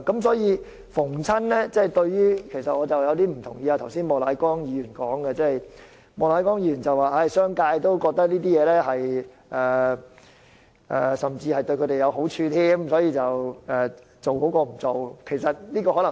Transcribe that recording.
所以，我有些不同意莫乃光議員剛才的發言，他說商界也覺得推行強制性標籤計劃對他們有好處，所以推行比不推行好。